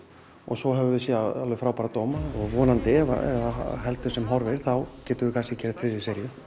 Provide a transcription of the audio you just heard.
og svo höfum við séð alveg frábæra dóma vonandi ef að heldur sem horfið þá getum við kannski gert þriðju seríu